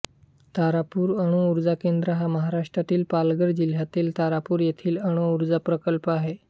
तारापूर अणुऊर्जा केंद्र हा महाराष्ट्रातील पालघर जिल्ह्यातील तारापूर येथील अणूऊर्जा प्रकल्प आहे